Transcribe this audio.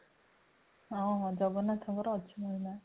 ହଁ ହଁ ଜଗନ୍ନାଥଙ୍କର ଅଛି ମହିମା